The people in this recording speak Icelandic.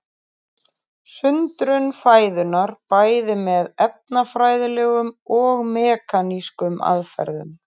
Sundrun fæðunnar bæði með efnafræðilegum og mekanískum aðferðum.